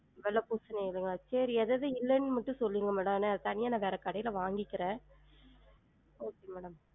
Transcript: வெள்ள பூசணி இல்லைங்களா? சேரி எது எது இல்லன்னு மட்டும் சொல்லுங்க madam நா தனியா வேற கடைல வாங்கிக்குறன் okay madam